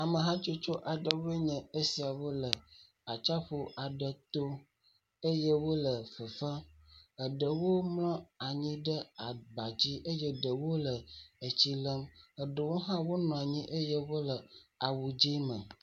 Amehatsotso aɖewo nye esiawo le atsaƒu aɖe to eye wole fefem. Eɖewo mlɔ anyi ɖe aba dzi eye ɖewo le tsi lém. Eɖewo hã wonɔ anyi eye wole awu dzɛ̃ me.